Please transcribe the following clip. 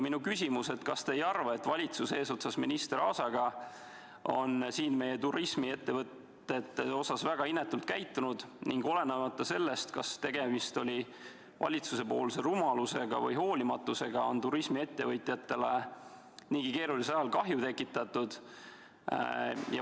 Minu küsimus on järgmine: kas te ei arva, et valitsus eesotsas minister Aasaga on meie turismiettevõtjate suhtes väga inetult käitunud ning – olenemata sellest, kas tegemist oli valitsusepoolse rumaluse või hoolimatusega – turismiettevõtjatele niigi keerulisel ajal kahju tekitatud?